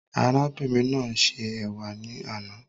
Arábìnrin náà ṣe ẹ̀wà ní àna